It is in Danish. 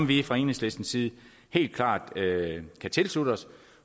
vi fra enhedslistens side helt klart kan tilslutte os